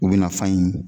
U bɛna fan in